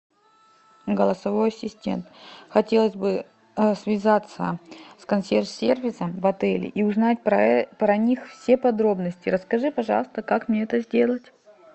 голосовой ассистент хотелось бы связаться с консьерж сервисом в отеле и узнать про них все подробности расскажи пожалуйста как мне это сделать